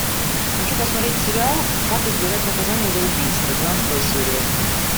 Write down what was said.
хочу посмотреть сериал как избежать наказания за убийство двенадцатая серия